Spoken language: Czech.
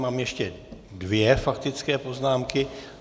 Mám ještě dvě faktické poznámky.